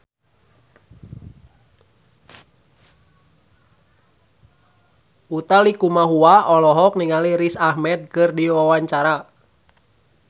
Utha Likumahua olohok ningali Riz Ahmed keur diwawancara